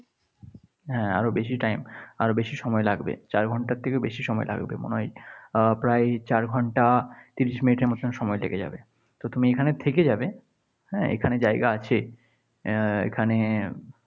হ্যাঁ আরও বেশি time আরও বেশি সময় লাগবে। চার ঘণ্টার থেকেও বেশি সময় লাগবে মনে হয়। আহ প্রায় চার ঘণ্টা তিরিশ মিনিটের মতো সময় লেগে যাবে। তো তুমি এখানে থেকে যাবে, হ্যাঁ এখানে জায়গা আছে আহ এখানে